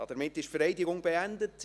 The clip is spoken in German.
Damit ist die Vereidigung beendet.